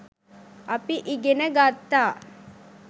අපි ඉගෙන ගත්තා